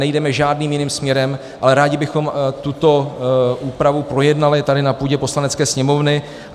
Nejdeme žádným jiným směrem, ale rádi bychom tuto úpravu projednali tady na půdě Poslanecké sněmovny.